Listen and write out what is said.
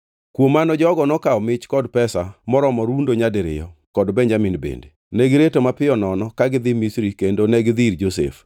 Kuom mano jogo nokawo mich kod pesa moromo rundo nyadiriyo, kod Benjamin bende. Negireto mapiyo nono ka gidhi Misri kendo negidhi ir Josef.